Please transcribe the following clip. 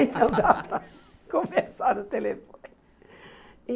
Então, dá para conversar no telefone.